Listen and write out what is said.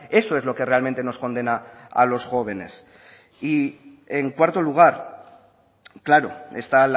eso es lo que realmente nos condena a los jóvenes y en cuarto lugar claro está